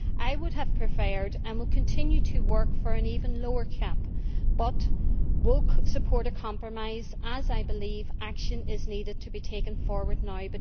I would have preferred and will continue to work for an even lower cap, but will support a compromise as I believe action needs to be taken now.